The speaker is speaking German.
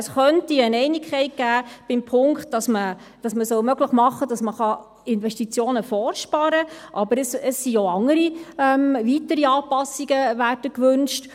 Es könnte eine Einigkeit geben im Punkt, dass man möglich machen soll, dass man Investitionen vorsparen kann, aber es werden auch andere, weitere Anpassungen gewünscht.